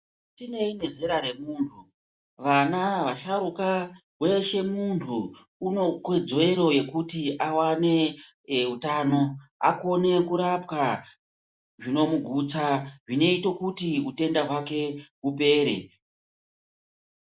Zvinei nezera remuntu vana vasharuka Weshe muntu une kodzero yekuti awane ee utano akone kurapwa zvinomugutsa zvinoite kuti utenda hwake hupere.